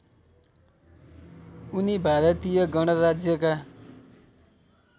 उनी भारतीय गणराज्यका